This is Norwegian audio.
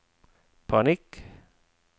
panikk